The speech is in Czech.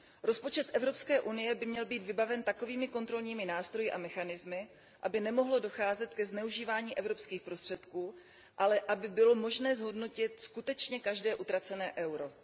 Rozpočet Evropské unie by měl být vybaven takovými kontrolními nástroji a mechanismy, aby nemohlo docházet ke zneužívání evropských prostředků, ale aby bylo možné zhodnotit skutečně každé utracené euro.